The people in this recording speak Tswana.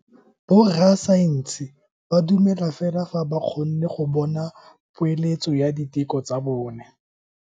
Borra saense ba dumela fela fa ba kgonne go bona poeletso ya diteko tsa bone.